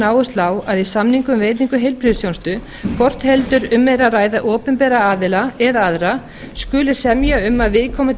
áherslu á að í samningum um veitingu heilbrigðisþjónustu hvort heldur um er að ræða opinbera aðila eða aðra skuli semja um að viðkomandi